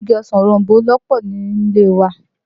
Igi ọsàn òroǹbó ló pọ̀ ní ilé e wa